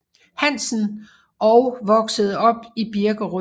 Hansen og voksede op i Birkerød